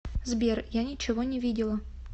сбер я ничего не видела